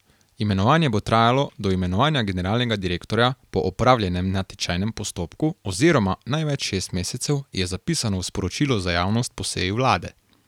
Imenovanje bo trajalo do imenovanja generalnega direktorja po opravljenem natečajnem postopku oziroma največ šest mesecev, je zapisano v sporočilu za javnost po seji vlade.